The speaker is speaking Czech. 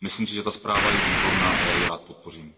Myslím si, že ta zpráva je výborná a já ji rád podpořím.